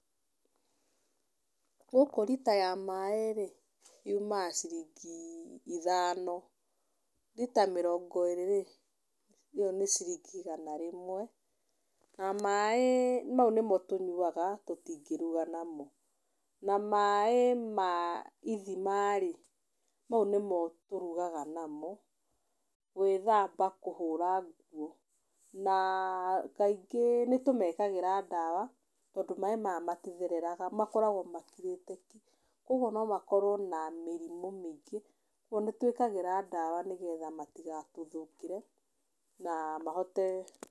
Gũkũ rita ya maaĩ rĩ, yumaga ciringi ithano. Rita mĩrongo ĩrĩ rĩ, ĩyo nĩ ciringi igana rĩmwe. Na maaĩ nĩmo tũnyuaga tũtingĩruga namo. Na maaĩ ma ithima rĩ, mau nĩmo tũrugaga namo, gwĩthamba kũhũra nguo. Na kaingĩ nĩ tũmekagĩra ndawa tondũ maĩ maya matithereraga, makoragwo makirĩte ki. Kuũguo no makorwo na mĩrimũ mĩingĩ. Kuũguo nĩtwikiraga ndawa nĩgetha matigatũthũkĩre na mahote.